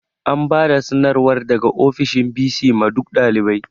An bada sanarwar daga ofishin bc ma duk ɗalibai